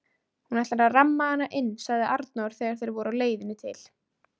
Hún ætlar að ramma hana inn, sagði Arnór þegar þeir voru á leiðinni til